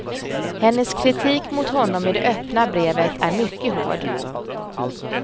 Hennes kritik mot honom i det öppna brevet är mycket hård.